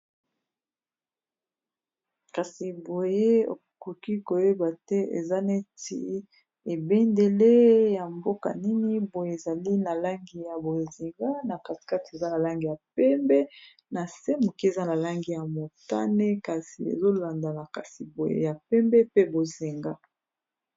kasi boye okoki koyeba te eza neti ebendele ya mboka nini boye ezali na langi ya bozenga na casekat eza na langi ya pembe na se moke eza na langi ya motane kasi ezolandana kasi boye ya pembe pe bozinga